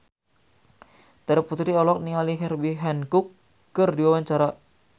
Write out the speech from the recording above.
Terry Putri olohok ningali Herbie Hancock keur diwawancara